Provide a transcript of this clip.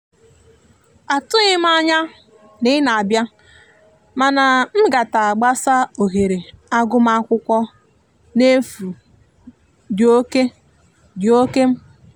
atughim anya na ị na abia mana ngata gbasa ohere agụma akwụkwo n'efu di oke di oke mkpa